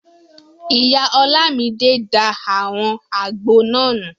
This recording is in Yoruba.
Ìyá Ọlámidé da àwọn àgbo náà nù